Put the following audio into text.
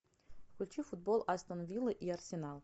включи футбол астон вилла и арсенал